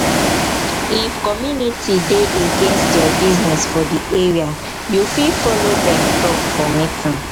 if community dey against your business for di area you fit follow dem talk for meeting